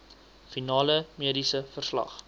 finale mediese verslag